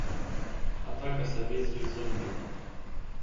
атака советских зомби